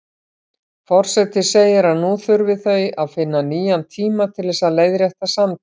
Forseti segir að nú þurfi þau að finna nýjan tíma til þess að leiðrétta samtalið.